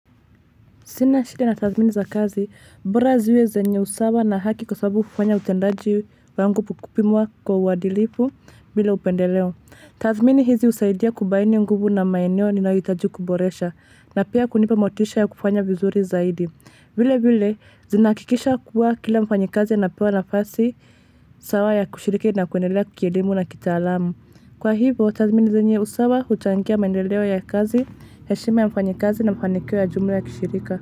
Sina shida na tazmini za kazi, bora ziwe zenye usawa na haki kwa sababu ufanya utendaji wangu pukupimuwa kwa uadilifu bila upendeleo. Tadhmini hizi usaidia kubaini nguvu na maeneo ninayohitaji kuboresha na pia kunipa motisha ya kufanya vizuri zaidi. Vile vile, zinakikisha kuwa kila mfanyikazi ya napewa nafasi sawa ya kushiriki na kuendelea kielimu na kitaalamu. Kwa hivo, tadhmini zenye usawa huchangia mendeleo ya kazi, heshima ya mfanyikazi na ufanikio ya jumla ya kishirika.